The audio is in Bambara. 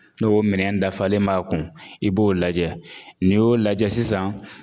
N'o minɛn in dafalen b'a kun i b'o lajɛ n'i y'o lajɛ sisan